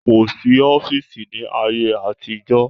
Kò sí ọ́fìsì ní ayé àtijọ́